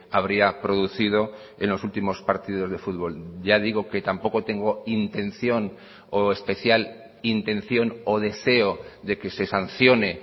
habría producido en los últimos partidos de fútbol ya digo que tampoco tengo intención o especial intención o deseo de que se sancione